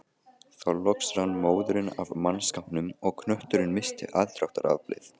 Þá loks rann móðurinn af mannskapnum og knötturinn missti aðdráttaraflið.